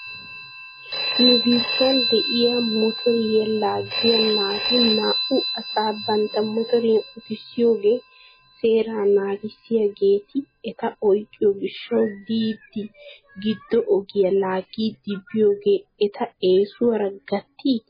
Nu biittan de'iyaa mutoriyaa laaggiyaa naati naa'u asaa bantta motoriyan utissiyoogaa seeraa naagissiyaageeti eta oyqqiyoo gishshaw diidi giddo ogiyaa laagidi biyoogee eta eesuwaara gattii?